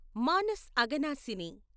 Manas Aghanashini